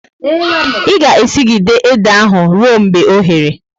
I ga e sigide ede ahu ruo mgbe oghere!